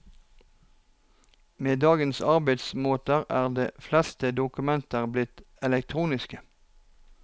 Med dagens arbeidsmåter er de fleste dokumenter blitt elektroniske.